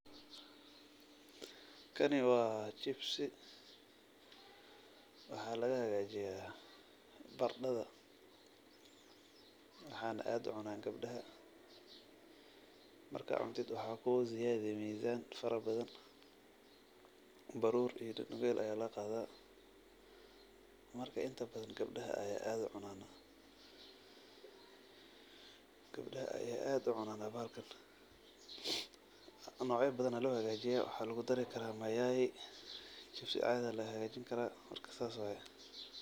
Kani wa chibsi ,waxaa laga hagaajiyo barandhada, waxana aad ucunaa gabdhaha, markad cuntid waxaa kuguziyadi mizaan fara badan. barur iyo hilib bel aya laga qaada marka inta badan gabdhaha aya aad ucunan. gabdhaha aya aad ucunan bahalkan, nocyo badan aya loo hagajiyaa, waxaa lugu daari karaa mayai chibsi caadi aya loo hagajini karaa marka sas way